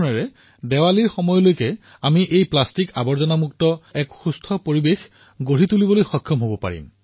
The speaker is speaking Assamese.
এইদৰে এই দেৱালীলৈ আমি প্লাষ্টিকৰ আৱৰ্জনাসমূহৰ সুৰক্ষিত ব্যৱস্থাপনা সম্পূৰ্ণ কৰি তুলিব পাৰো